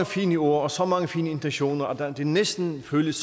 fine ord så mange fine intentioner at det næsten føles